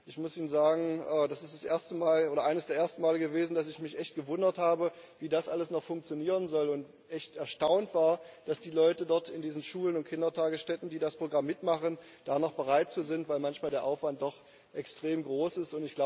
Und ich muss Ihnen sagen Das ist eines der ersten Male gewesen, dass ich mich echt gewundert habe, wie das alles noch funktionieren soll, und echt erstaunt war, dass die Leute dort in diesen Schulen und Kindertagesstätten, die das Programm mitmachen, dazu noch bereit sind, weil manchmal der Aufwand doch extrem groß ist.